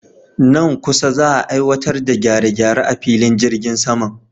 Nan kusa za'a aiwatar da gyare-gyare a filin jirgin saman.